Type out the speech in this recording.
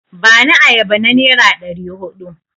Bani ayaba na nera ɗari huɗu!